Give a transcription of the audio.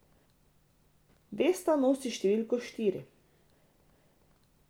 Vesta nosi številko štiri.